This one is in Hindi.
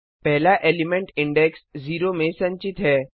पहला एलिमेंट इंडेक्स 0 में संचित है